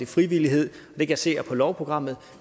frivillighed det kan jeg se er på lovprogrammet